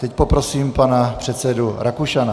Teď poprosím pana předsedu Rakušana.